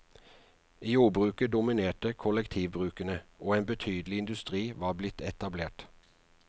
I jordbruket dominerte kollektivbrukene, og en betydelig industri var blitt etablert.